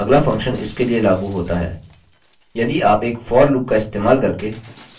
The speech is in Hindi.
अबअगला फंक्शन इसके लिए लागू होता है